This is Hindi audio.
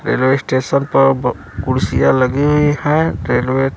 रेलवे स्टेशन प ब कुर्सियां लगी हुई है रेलवे --